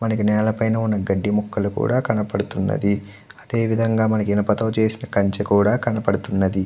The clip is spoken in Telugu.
మనకి నేల పైన ఉన్నా గడ్డి మొక్కలు కూడా కనబడుతున్నది. అదే విధంగా మనకు ఇనుపతో చేసిన కంచె కూడా కనబడుతున్నది.